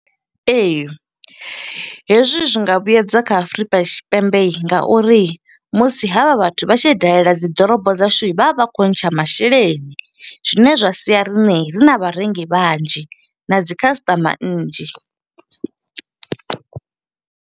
Ee, hezwi zwi nga vhuedza kha Afurika Tshipembe nga uri musi ha vha vhathu vha tshi dalela dzi ḓorobo dzashu. Vha vha vha kho ntsha masheleni, zwine zwa sia riṋe ri na vharengi vhanzhi, na dzi khasiṱama nnzhi.